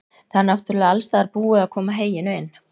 Það er náttúrlega alstaðar búið að koma heyinu inn?